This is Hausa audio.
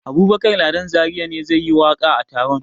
Abubakar Ladan Zariya ne zai yi waƙa a taron.